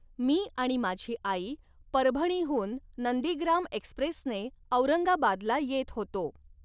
मी व माझी आई परभणीहून नंदीग्राम एक्स्प्रेसने औरंगाबादला येत होतो.